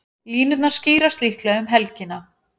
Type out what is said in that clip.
Línurnar skýrast líklega um helgina.